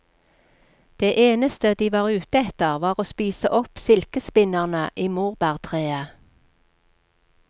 Det eneste de var ute etter var å spise opp silkespinnerne i morbærtreet.